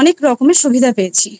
অনেক রকম সুবিধা পেয়েছি।